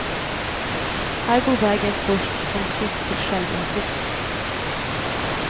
Här går vägen först som sist till självinsikt.